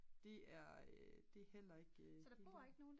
det er det er heller ikke